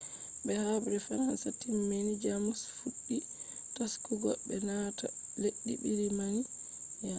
be habre fransa timmi jamus fuddi taskugo be naata leddi britania